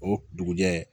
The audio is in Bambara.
O dugujɛ